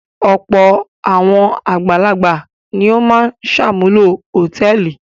Ọ̀pọ̀ àwọn àgbàlagbà ni ó máa ń ṣàmúlò hòtẹ́ẹ́lì.